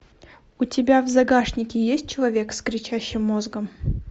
у тебя в загашнике есть человек с кричащим мозгом